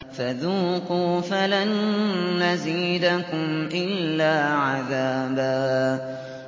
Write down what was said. فَذُوقُوا فَلَن نَّزِيدَكُمْ إِلَّا عَذَابًا